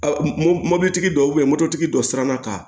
Mobilitigi dɔw mobilitigi dɔ siranna ka